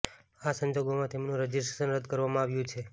આ સંજોગોમાં તેમનું રજિસ્ટ્રેશન રદ્દ કરવામાં આવ્યું છે